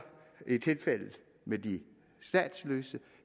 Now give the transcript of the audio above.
i tilfældet med de statsløse